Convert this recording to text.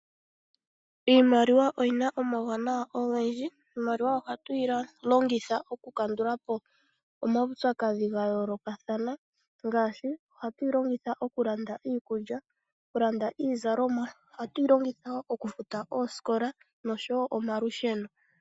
Iimaliwa oyina omawunawa ogendji, iimaliwa ohatu yi longitha oku kandula po omaupyakadhi ga yoolokathana ngaashi ohatu yi longitha okulanda iikulya, landa iizalomwa, ohatu yi longitha oosikola nosho wo omalusheno.